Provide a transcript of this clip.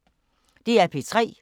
DR P3